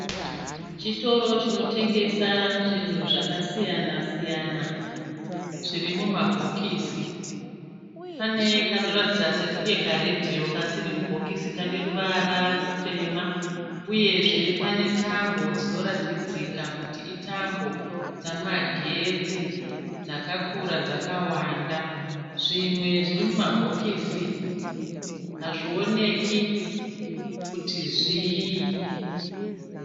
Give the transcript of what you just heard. Chitoro chinotengesa zvinhu zvakasiyana siyana zvirimubhokisi. Pane kanoratidza sekunge karedhiyo kasiri mubhokokisi kane ruvara rutema. Uyezve pane tambo dzinoratidzika kuti itambo dzemagetsi dzakakura dzakawanda. Zvimwe zvirimumabhokisi hazvioneki kuti zviyi.